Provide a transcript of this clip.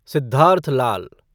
Siddharth Lal